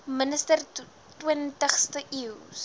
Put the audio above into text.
minister twintigste eeus